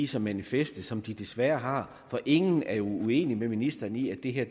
som en fest som de desværre har for ingen er jo uenig med ministeren i at det her